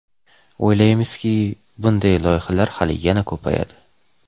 O‘ylaymiz-ki, bunday loyihalar hali yana ko‘payadi.